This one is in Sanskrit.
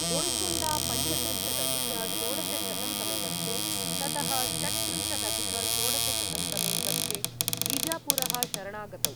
गोल्कोण्डा पञ्चत्रिंशदधिक षोडशशतं तमे वर्षे ततः षट्त्रिंशदधिक षोडशशतं तमे वर्षे बीजापुरः शरणागतौ।